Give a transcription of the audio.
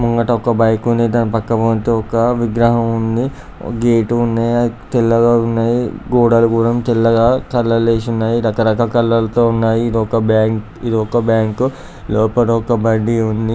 ముంగట ఒక బైక్ ఉంది దాని పక్కపొంటి ఒక విగ్రహం ఉంది గేటు ఉంది అది తెల్లగా ఉన్నాయ్ గోడలు గుడం తెల్లగా కలర్లు వేషున్నాయ్ రకరక కలర్ తో ఉన్నాయి ఇది ఒక బ్యాంకు -ఇది ఒక బ్యాంకు లోపల ఒక బండి ఉంది.